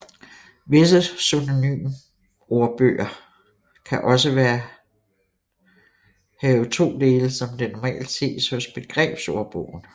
Visse synonymordboger kan også være have to dele som det normalt ses hos begrebsordbogen